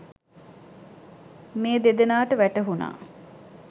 මේ දෙදෙනාට වැටහුනා.